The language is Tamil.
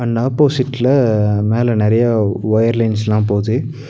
அண்ட் ஆப்போசிட்ல மேல நறைய வயர்லைன்ஸ்ல போது.